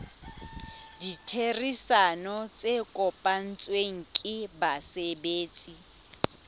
ditherisano tse kopanetsweng ke basebetsi